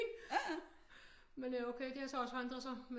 Men øh okay det har så også forandret sig